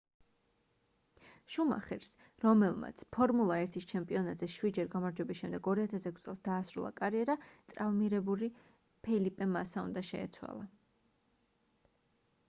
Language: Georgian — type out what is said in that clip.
შუმახერს რომელმაც ფორმულა 1-ის ჩემპიონატზე შვიდჯერ გამარჯვების შემდეგ 2006 წელს დაასრულა კარიერა ტრავმირებული ფელიპე მასა უნდა შეეცვალა